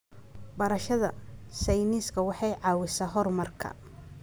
Barashada sayniska waxay caawisaa horumarka.